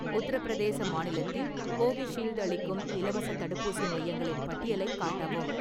உத்தரப்பிரதேச மாநிலத்தில் கோவிஷீல்டு அளிக்கும் இலவசத் தடுப்பூசி மையங்களின் பட்டியலைக் காட்டவும்.